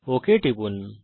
okay টিপুন